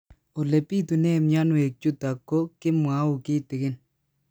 Ole pitune mionwek chutok ko kimwau kitig'ín